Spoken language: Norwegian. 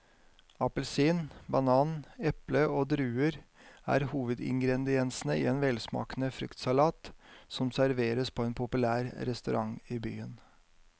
Appelsin, banan, eple og druer er hovedingredienser i en velsmakende fruktsalat som serveres på en populær restaurant i byen.